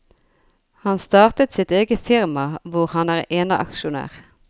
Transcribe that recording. Han starter sitt eget firma hvor han er eneaksjonær.